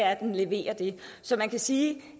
at den leverer det så man kan sige